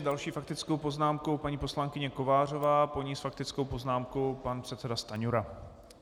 S další faktickou poznámkou paní poslankyně Kovářová, po ní s faktickou poznámkou pan předseda Stanjura.